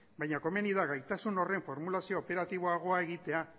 baina komeni da gaitasun horren formulazio operatiboagoa egitea